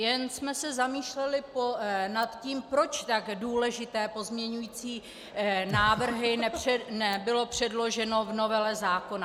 Jen jsme se zamýšleli nad tím, proč tak důležité pozměňující návrhy nebyly předloženy v novele zákona.